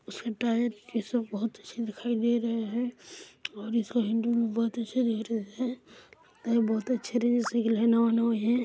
इसमें टायर और ये सब बहुत अच्छे दिखाई दे रहे है और इसका हैडल भी बहुत अच्छा दिख रहा है बहोत तरिके से डिज़ाइन नवा नवा है।